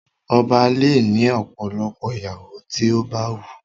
Ọba le ni ọ̀pọ̀lọpọ̀ ìyàwó ti o ba wun.